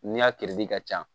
Ni y'a ka ca